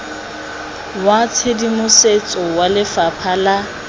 wa tshedimosetso wa lefapha la